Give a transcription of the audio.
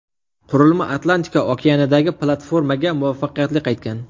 Qurilma Atlantika okeanidagi platformaga muvaffaqiyatli qaytgan.